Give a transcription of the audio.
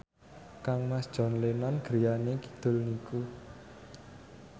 kangmas John Lennon griyane kidul niku